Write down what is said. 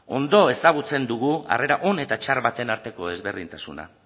ondo ezagutzen dugu harrera on eta txar baten arteko ezberdintasuna